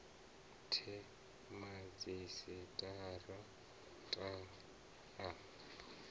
the madzhisi tara ta a